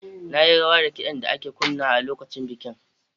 Na yi rawa da kidan da ake kunnawa a lokacin bikin.